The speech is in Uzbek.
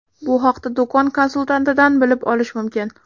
Bu haqda do‘kon konsultantidan bilib olish mumkin.